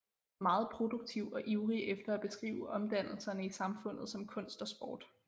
Meget produktiv og ivrig efter at beskrive omdannelserne i samfundet som kunst og sport